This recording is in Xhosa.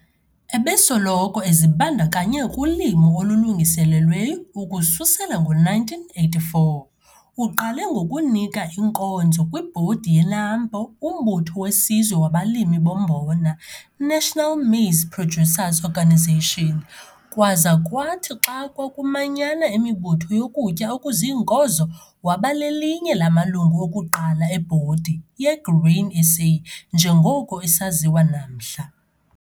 Ebesoloko ezibandakanye kulimo olulungiselelweyo ukususela ngo-1984, uqale ngokunika inkonzo kwibhodi yeNAMPO, uMbutho weSizwe wabaLimi boMbona - National Maize Producers Organisation, kwaza kwathi xa kwakumanyana imibutho yokutya okuziinkozo, waba lelinye lamalungu okuqala ebhodi yeGrain SA njengoko isaziwa namhla.